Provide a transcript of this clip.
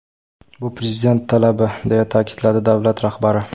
Bu Prezident talabi!” deya ta’kidladi davlat rahbari.